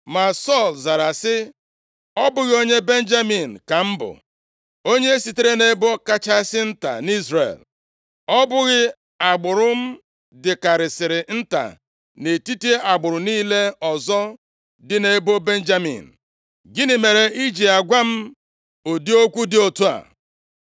Ma Sọl zara sị, “Ọ bụghị onye Benjamin ka m bụ, onye sitere nʼebo kachasị nta nʼIzrel; ọ bụghị agbụrụ m dịkarịsịrị nta nʼetiti agbụrụ niile ọzọ dị nʼebo Benjamin? Gịnị mere i ji agwa m ụdị okwu dị otu a?”